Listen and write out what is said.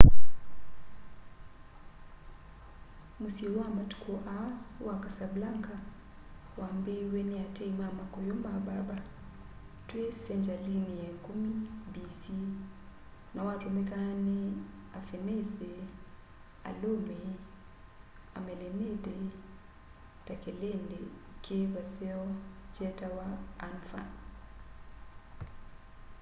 mũsyĩ wa matuku aa wa casablanca wambĩĩwe nĩ ateĩ ma makũyũ ma berber twi sengyalini ya ikumi b.c na watũmĩka nĩ afĩnĩsĩ alũmĩ amelenĩdĩ ta kĩlĩndĩ ki vaseo kyetawa anfa